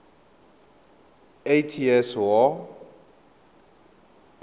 eighty years war